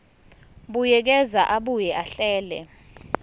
buyekeza abuye ahlele